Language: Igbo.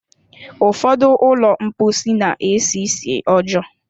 Ụfọdụ ụlọ mposi na-esi nsị ọjọọ.